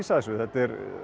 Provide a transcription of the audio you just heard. þessu þetta er